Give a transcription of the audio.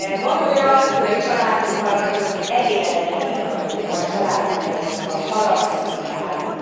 Van olyan, hogy a családunkkal nagyon elégedetlenek vagyunk, vagy családtagjainkkal, haragszunk rájuk.